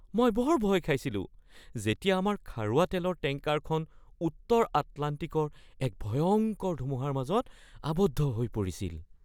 মই বৰ ভয় খাইছিলো যেতিয়া আমাৰ খাৰুৱা তেলৰ টেংকাৰখন উত্তৰ আটলাণ্টিকৰ এক ভয়ংকৰ ধুমুহাৰ মাজত আবদ্ধ হৈ পৰিছিল।